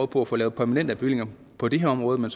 på at få lavet permanente bevillinger på det her område men